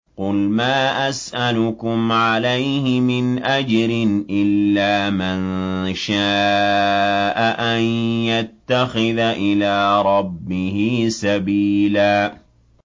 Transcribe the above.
قُلْ مَا أَسْأَلُكُمْ عَلَيْهِ مِنْ أَجْرٍ إِلَّا مَن شَاءَ أَن يَتَّخِذَ إِلَىٰ رَبِّهِ سَبِيلًا